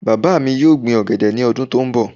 Bàbá mi yóò gbin ọ̀gẹ̀dẹ̀ ní ọdún tó ń bọ̀